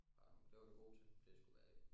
Bare øh det var du god til det skulle være det?